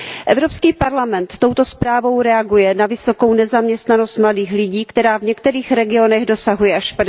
Evropský parlament touto zprávou reaguje na vysokou nezaměstnanost mladých lidí, která v některých regionech dosahuje až